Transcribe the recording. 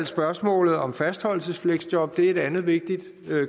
spørgsmålet om fastholdelsesfleksjob et andet vigtigt